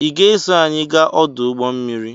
I ga-eso anyị gaa ọdụ ụgbọmmiri?